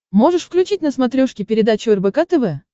можешь включить на смотрешке передачу рбк тв